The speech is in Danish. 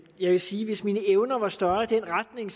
jeg vil sige at hvis mine evner var større i den retning